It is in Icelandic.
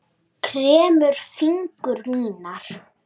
Kremur fingur mína.